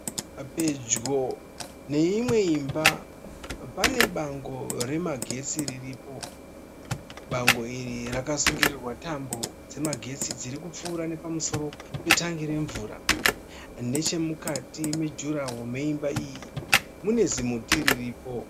Pedyo neimwe imba pane bango remagetsi riripo. Bango iri rakasungirirwa tambo dzemagetsi dzirikupfuura nepamusoro petangi remvura. Nechemukati mejuraho meimba iyi mune zimuti riripo.